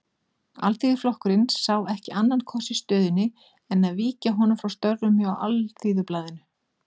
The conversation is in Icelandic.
Alþýðuflokkurinn sá ekki annan kost í stöðunni en að víkja honum frá störfum hjá Alþýðublaðinu.